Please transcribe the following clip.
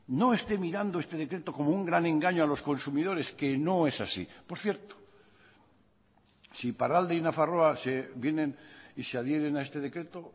no esté mirando este decreto como un gran engaño a los consumidores que no es así por cierto si iparralde y nafarroa se vienen y se adhieren a este decreto